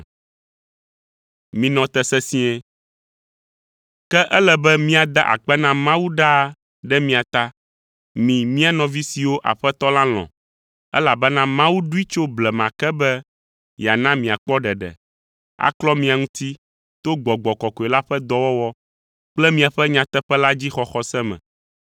Ke ele be míada akpe na Mawu ɖaa ɖe mia ta, mi mía nɔvi siwo Aƒetɔ la lɔ̃, elabena Mawu ɖoe tso blema ke be yeana miakpɔ ɖeɖe, aklɔ mia ŋuti to Gbɔgbɔ Kɔkɔe la ƒe dɔwɔwɔ kple miaƒe nyateƒe la dzi xɔxɔ se me.